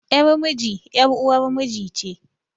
Yar miji ƴar uwar miji ce